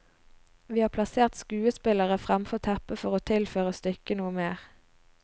Vi har plassert skuespillere fremfor teppet for å tilføre stykket noe mer.